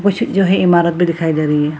कुछ जो है इमारत भी दिखाई दे रही है।